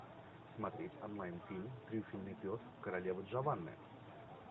смотреть онлайн фильм трюфельный пес королевы джованны